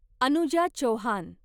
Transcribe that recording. Anuja Chauhan